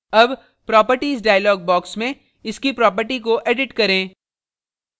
अब properties dialog box में इसकी properties को edit करें